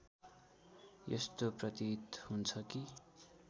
यस्तो प्रतीत हुन्छ कि